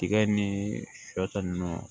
Tiga ni shɔ ta ninnu